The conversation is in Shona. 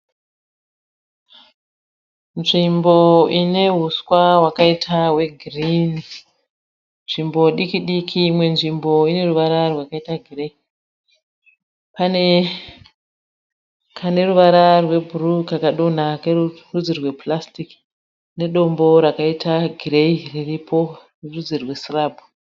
Nzvimbo ine huswa hwakaita hwegirini, nzvimbo diki-diki, imwe nzvimbo ine ruvara rwakaita gireyi. Pane kane ruvara rwebhuruu kakadonha kerudzi rwepurasiti nedombo rakaita gireyi riripo rerudzi rwesirabhu.